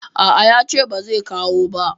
A a, ya ce ba zai kawo ba.